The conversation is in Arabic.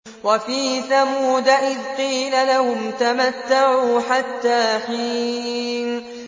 وَفِي ثَمُودَ إِذْ قِيلَ لَهُمْ تَمَتَّعُوا حَتَّىٰ حِينٍ